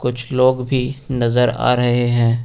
कुछ लोग भी नजर आ रहे हैं।